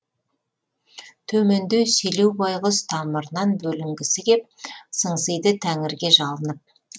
төменде селеу байғұс тамырынан бөлінгісі кеп сыңсиды тәңірге жалынып